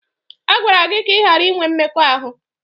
A gwara gị ka ị ghara inwe mmekọahụ!